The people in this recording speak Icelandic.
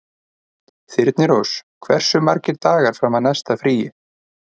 Þyrnirós, hversu margir dagar fram að næsta fríi?